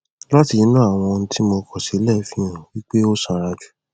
láti inú àwọn ohun tí mo kọ sílẹ fi hàn wí pé ó sanra jù